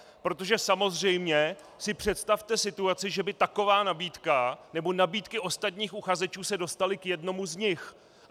Protože samozřejmě si představte situaci, že by taková nabídka nebo nabídky ostatních uchazečů se dostaly k jednomu z nich.